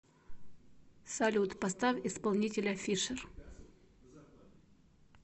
салют поставь исполнителя фишер